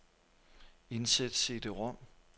Indsæt cd-rom.